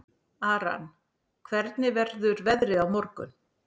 Aran, hvernig verður veðrið á morgun?